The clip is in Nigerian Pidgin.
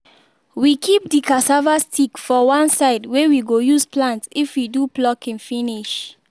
we keep the cassava sticks for one side wey we go use plant if we do plucking finish